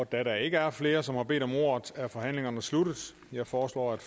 da der ikke er flere som har bedt om ordet er forhandlingerne sluttet jeg foreslår at